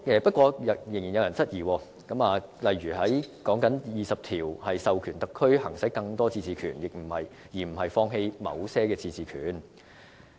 不過，仍有人質疑，例如指第二十條是授權特區行使更多自治權，而非放棄某些自治權。